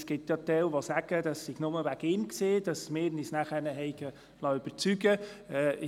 Es gibt ja Leute, die behaupten, wir hätten uns nur seinetwegen überzeugen lassen.